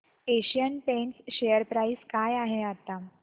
Asian Paints share price काय आहे आता